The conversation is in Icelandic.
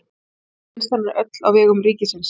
Olíuvinnslan er öll á vegum ríkisins.